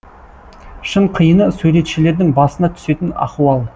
шын қиыны суретшілердің басына түсетін ахуал